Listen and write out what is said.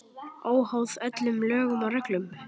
Óháð öllum lögum og reglum.